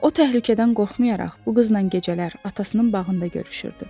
O təhlükədən qorxmayaraq bu qızla gecələr atasının bağında görüşürdü.